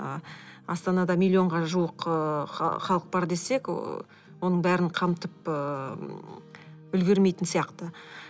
ы астанада миллионға жуық ыыы халық бар десек ы оның барлығын қамтып ы үлгермейтін сияқты